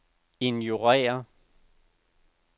ignorér